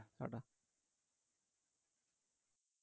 Tata